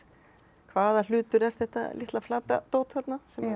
hvaða hlutur er þetta litla flata dót þarna